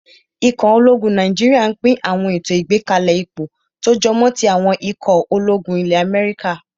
Ikọ̀ ológun Nàìjíríyà n pín àwọn ètò ìgbákalẹ̀ ipò tó jọmọ́ tí àwọn ikọ̀ ológun ilẹ́ Amẹ́ríkà